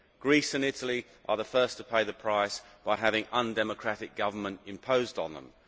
Greece and Italy are the first to pay the price by having undemocratic government imposed on them.